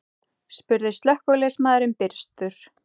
spurði slökkviliðsmaðurinn byrstur.